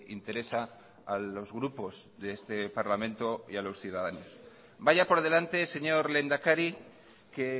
interesa a los grupos de este parlamento y a los ciudadanos vaya por delante señor lehendakari que